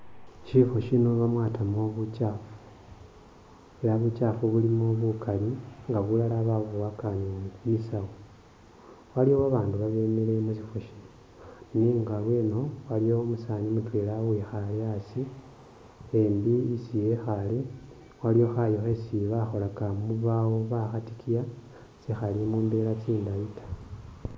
Syifwo shino bamwatamu bukyaafu, ela bukyaafu bulimo bukali nga bilala babuboyaka ni mu bisawu. Waliwo babandu babemile mu syifwo shino nenga lweno waliwo umusaani mutwela uwikhaale asi, embi isi ekhaale waliwo khayu khesi bakholaka mu bubawo bakhatikiya sikhali mu mbela tsindayi ta.